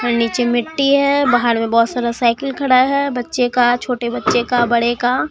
और नीचे मिट्टी है बाहर में बहोत सारा साइकिल खड़ा है बच्चे का छोटे बच्चे का बड़े का।